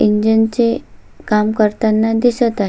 Engine चे काम करताना दिसत आहे.